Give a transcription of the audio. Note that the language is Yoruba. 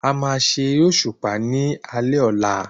A má ṣe eré òṣùpá ní alé ọ̀la